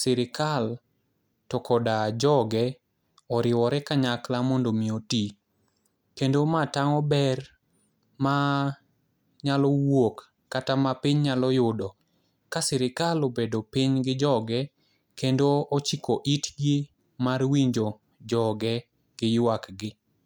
sirikal to koda joge oriwore kanyakla mondo omi oti, kendo ma tang'o ber ma nyalo wuok kata ma piny nyalo yudo ka sirikal obedo piny gi joge kendo ochiko itgi mar winjo joge gi ywakgi.